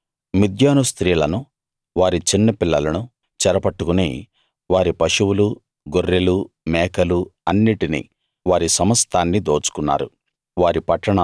వారు మిద్యాను స్త్రీలను వారి చిన్నపిల్లలను చెరపట్టుకుని వారి పశువులు గొర్రెలు మేకలు అన్నిటిని వారి సమస్తాన్ని దోచుకున్నారు